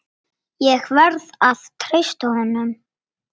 Ég verð að treysta honum.